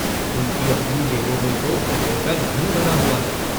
उनकी अपनी जेबों में तो कुबेर का धन भरा हुआ है।